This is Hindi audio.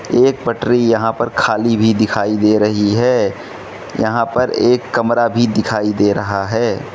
एक पटरी यहां पर खाली भी दिखाई दे रही है यहां पर एक कमरा भी दिखाई दे रहा है।